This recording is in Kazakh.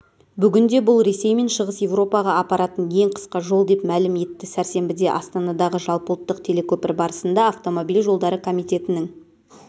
бүгінде бұл ресей мен шығыс еуропаға апаратын ең қысқа жол деп мәлім етті сәрсенбіде астанадағы жалпыұлттық телекөпір барысында автомобиль жолдары комитетінің